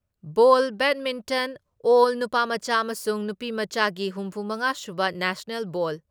ꯕꯣꯜ badminton ꯑꯦꯜ ꯅꯨꯄꯥꯃꯆꯥ ꯑꯃꯁꯨꯡ ꯅꯨꯄꯤꯃꯆꯥꯒꯤ ꯍꯨꯝꯐꯨ ꯃꯉꯥ ꯁꯨꯕ ꯅꯦꯁꯅꯦꯜ ꯕꯣꯜ